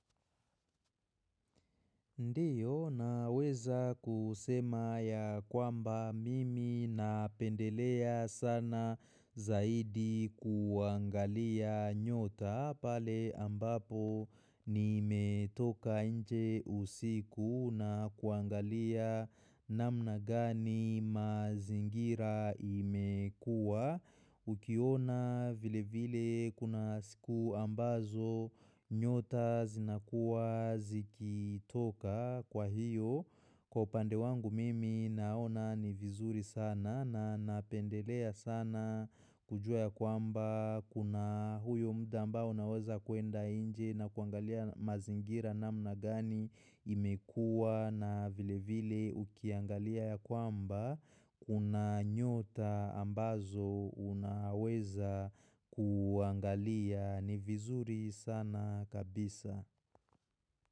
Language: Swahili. Ndiyo naweza kusema ya kwamba mimi napendelea sana zaidi kuangalia nyota pale ambapo ni metoka nje usiku na kuangalia. Namna gani mazingira imekua. Ukiona vile vile kuna siku ambazo. Nyota zinakuwa zikitoka kwa hiyo. Kwa upande wangu mimi naona ni vizuri sana na napendelea sana kujua ya kwamba Kuna huyo mda ambao unaweza kuenda inje na kuangalia mazingira na mna gani imekua na vile vile ukiangalia ya kwamba. Una nyota ambazo unaweza kuangalia ni vizuri sana kabisa.